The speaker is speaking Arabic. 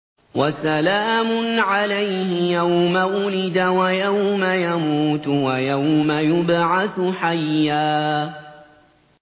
وَسَلَامٌ عَلَيْهِ يَوْمَ وُلِدَ وَيَوْمَ يَمُوتُ وَيَوْمَ يُبْعَثُ حَيًّا